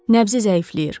Nəbzi zəifləyir.